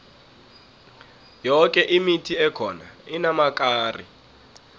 yoke imithi ekhona inamakari